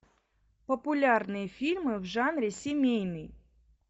популярные фильмы в жанре семейный